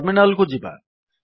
terminal କୁ ଯିବା